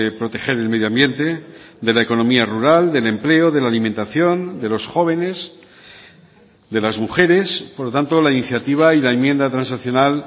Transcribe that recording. proteger el medio ambiente de la economía rural del empleo de la alimentación de los jóvenes de las mujeres por lo tanto la iniciativa y la enmienda transaccional